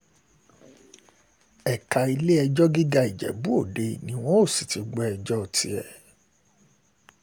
ẹ̀ka ilé-ẹjọ́ gíga ìjẹ́bú-ọdẹ ni wọn yóò sì ti gbọ́ ẹjọ́ tiẹ̀